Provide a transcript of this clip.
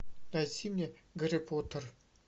найди мне гарри поттер